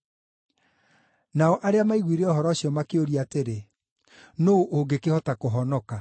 Nao arĩa maiguire ũhoro ũcio makĩũria atĩrĩ, “Nũũ ũngĩkĩhota kũhonoka?”